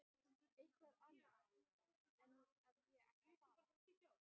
Eitthvað annað en að ég ætti að fara.